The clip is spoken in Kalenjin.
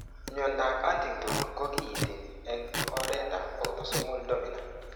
Mnyandoap Huntington ko kiinti eng' oretap autosomal dominant.